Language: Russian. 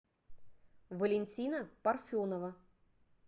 валентина парфенова